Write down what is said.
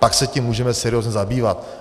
Poté se tím můžeme seriózně zabývat.